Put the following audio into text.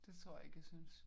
Det tror jeg ikke jeg synes